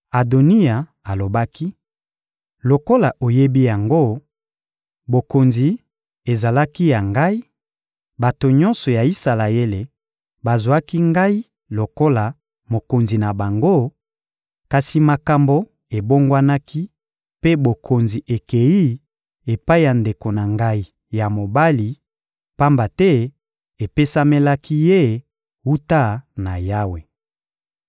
Adoniya alobaki: — Lokola oyebi yango, bokonzi ezalaki ya ngai; bato nyonso ya Isalaele bazwaki ngai lokola mokonzi na bango, kasi makambo ebongwanaki mpe bokonzi ekeyi epai ya ndeko na ngai ya mobali, pamba te epesamelaki ye wuta na Yawe.